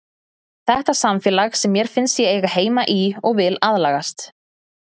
Þetta er samfélag sem mér finnst ég eiga heima í og vil aðlagast.